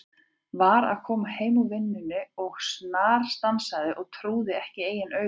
Var að koma heim úr vinnunni og snarstansaði, trúði ekki eigin augum.